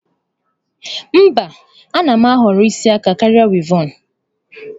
Mba, a na m ahọrọ isi aka karịa wịevọn.